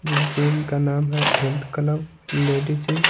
जिस जम का नाम है हेल्थ क्लब लेडी जीम --